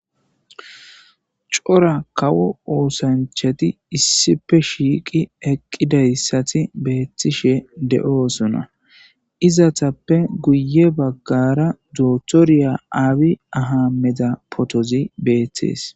C'ora kawo oosanchati issippe shiiqi eqqidayssati beettishe de7oosona.izetapppe guye baggara qasse dokitere Aymede Abi pootoy beettes.